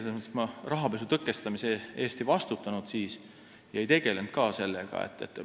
Selles mõttes, et siis ma rahapesu tõkestamise eest ei vastutanud ja ei tegelenud ka sellega.